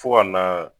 Fo ka na